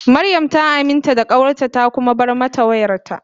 Mariam ta aminta da kawarta ta kuma bar mata wayarta.